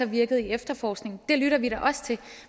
virket i efterforskningen af det lytter vi da også til